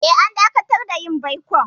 Eh, an dakatar da yin baikon.